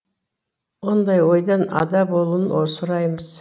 ондай ойдан ада болуын сұраймыз